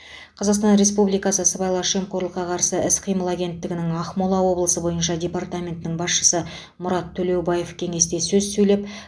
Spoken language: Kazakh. қазақстан республикасы сыбайлас жемқорлыққа қарсы іс қимыл агенттігінің ақмола облысы бойынша департаментінің басшысы мұрат төлеубаев кеңесте сөз сөйлеп